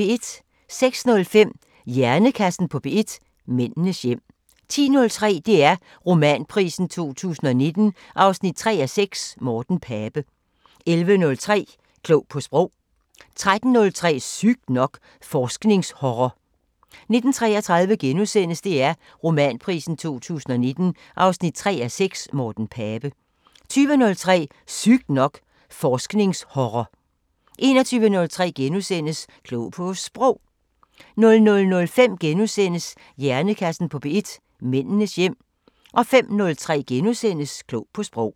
06:05: Hjernekassen på P1: Mændenes hjem 10:03: DR Romanprisen 2019 3:6 – Morten Pape 11:03: Klog på Sprog 13:03: Sygt nok: Forsknings-horror 19:33: DR Romanprisen 2019 3:6 – Morten Pape * 20:03: Sygt nok: Forsknings-horror 21:03: Klog på Sprog * 00:05: Hjernekassen på P1: Mændenes hjem * 05:03: Klog på Sprog *